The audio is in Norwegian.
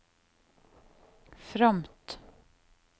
fromt